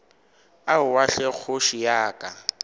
aowa hle kgoši ya ka